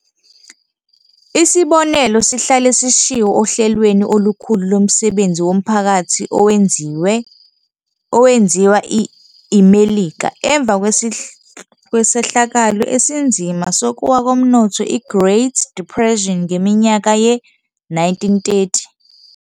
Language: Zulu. Isibonelo sihlale sishiwo ohlelweni olukhulu lomsebenzi womphakathi owenziwa iMelika emva kwesehlakalo esinzima sokuwa komnotho i-Great Depression ngeminyaka ye-1930.